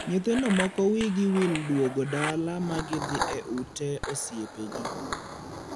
Nyithindo moko wiigi wil duogo dala ma gidhii e ute osiepegi.